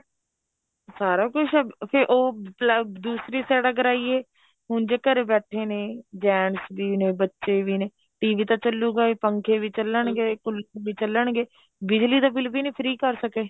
ਸਾਰਾ ਕੁੱਝ ਫੇਰ ਉਹ ਦੂਸਰੀ side ਅਗਰ ਆਈਏ ਹੁਣ ਜੇ ਘਰੇ ਬੈਠੇ ਨੇ gents ਵੀ ਨੇ ਬੱਚੇ ਵੀ ਨੇ TV ਤਾਂ ਚੱਲੂਗਾ ਪੰਖੇ ਵੀ ਚੱਲਣਗੇ ਕੂਲਰ ਵੀ ਚੱਲਣਗੇ ਬਿਜਲੀ ਦਾ bill ਵੀ ਨਹੀਂ free ਕ਼ਰ ਸਕੇ